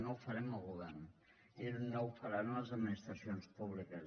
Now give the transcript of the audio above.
no ho farem el govern i no ho faran les administracions públiques